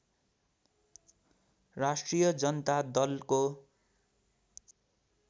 राष्ट्रिय जनता दलको